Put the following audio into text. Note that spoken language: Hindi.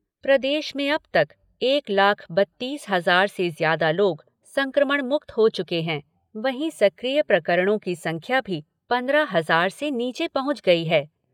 प्रदेश में अब तक एक लाख बत्तीस हज़ार से ज्यादा लोग संक्रमण मुक्त हो चुके हैं, वहीं सक्रिय प्रकरणों की संख्या भी पंद्रह हज़ार से नीचे पहुँच गई है।